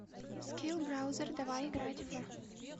скилл браузер давай играть в